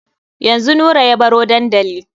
Yanzu Nura ya baro dandali.